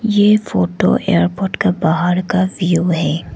ये photo airport का बाहर का व्यू है।